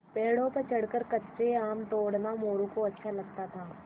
पेड़ों पर चढ़कर कच्चे आम तोड़ना मोरू को अच्छा लगता था